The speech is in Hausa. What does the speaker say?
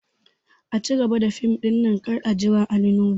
A cigaba da fim ɗin nan kar a jira Ali nuhu!